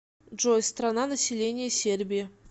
джой страна население сербии